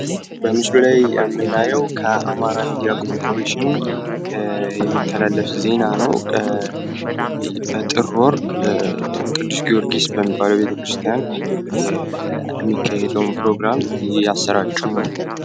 በምስሉ ላይ የምናየው በአማራ ሚድያ ኮረፖሬሽን የሚተላለፍ ዜና ነው። በጥር ወር ቅዱስ ጊዮርጊስ የሚባለውን ፕሮግራም እያሰራጩ ነው።